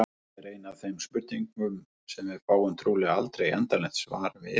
Þetta er ein af þeim spurningum sem við fáum trúlega aldrei endanlegt svar við.